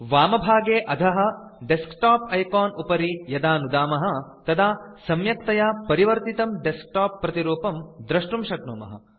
वामभागे अधः desktop icon उपरि यदा नुदामः तदा सम्यक्तया परिवर्तितं डेस्कटॉप प्रतिरूपं दृष्टुं शक्नुमः